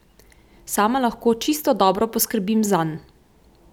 Sama lahko čisto dobro poskrbim zanj.